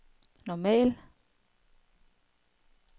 normal